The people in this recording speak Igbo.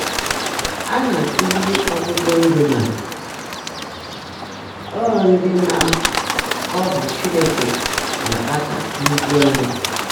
Á ná-ákụ́zị́rí ọ́tụ́tụ́ ndị́ ná ọ́ ndị́ ná ọ́ bụ́ Chínekè ná-ákpáta nhụ́jụ́áńyá.